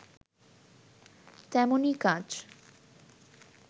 তেমনি কাজ